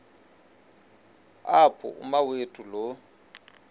apho umawethu lo